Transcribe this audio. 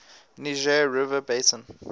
niger river basin